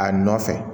A nɔfɛ